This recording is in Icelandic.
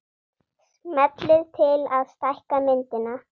Smellið til að stækka myndina